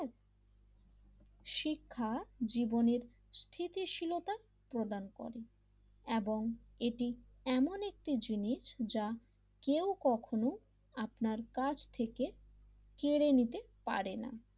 শিক্ষাজীবনের স্থিতিশীলতা প্রদান করে এবং এটি এমন একটি জিনিস যা কেউ কখনো আপনার কাজ থেকে কেড়ে নিতে পারে না,